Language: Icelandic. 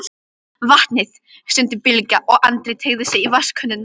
Vatnið, stundi Bylgja og Andri teygði sig í vatnskönnuna.